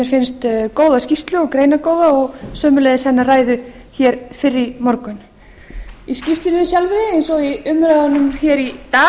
finnst góða skýrslu og greinargóða og sömuleiðis hennar ræðu hér fyrr í morgun í skýrslunni sjálfri eins og í umræðunum hér í dag er komið